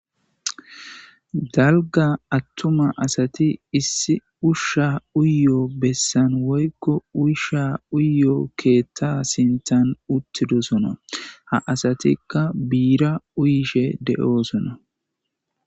Dalga attuma asati issi ushsha uyoo bessan woykko uysha uyoo keetta sintan uttidosona ha asatikka biira uyishe de'oosona.